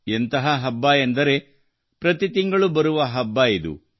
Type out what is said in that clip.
ಎಂಥ ಹಬ್ಬ ಎಂದರೆ ಪ್ರತಿ ತಿಂಗಳು ಬರುವ ಹಬ್ಬವಿದು